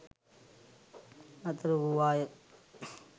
නතර වූ වාය